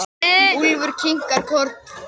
Úlfur kinkar kolli.